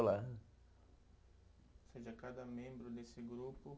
Lá. Ou seja, cada membro desse grupo